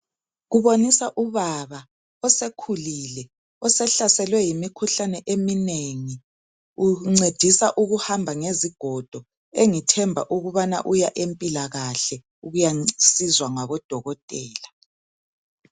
Kuboniswa ubaba osekhulile osehlaselwe yimikhuhlane eminengi uncediswa ukuhamba ngezigodo engithemba ukubana uya empilakahle ukuyosizwa ngabodokotela.